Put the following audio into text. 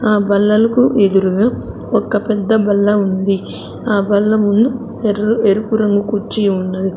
ఆ బల్లలకు ఎదురుగా ఒక్క పెద్ద బల్ల ఉంది. ఆ బల్ల ముందు ఎర్ ఎరుపు రంగు కుర్చీ ఉన్నది.